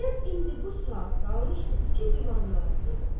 Zeynəb indi bu saat qalmışdı iki divarın arasında.